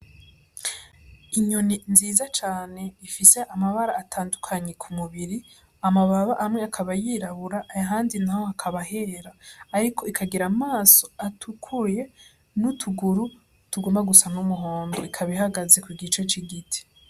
Inyoni nziza cane ifise amabara atandukanye ku mubiri, amababa amwe akaba yirabura ahandi naho hakaba hera, ariko ikagira amaso atukuye n'utuguru tugomba gusa n'umuhondo, ikaba ihagaze ku gice c'igiti.